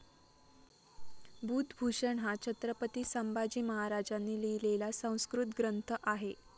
बुधभूषण हा छत्रपती संभाजी महाराजांनी लिहिलेला संस्कृत ग्रंथ आहे.